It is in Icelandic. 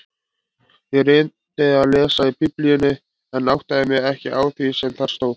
Ég reyndi að lesa í Biblíunni en áttaði mig ekki á því sem þar stóð.